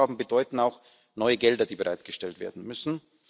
Neue Aufgaben bedeuten auch neue Gelder, die bereitgestellt werden müssen.